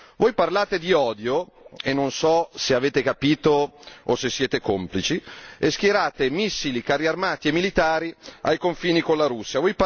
Voi parlate di odio e non so se avete capito o se siete complici e schierate missili, carri armati e militari ai confini con la Russia.